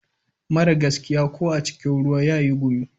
Mara gaskiya ko a cikin ruwa yayi gumi.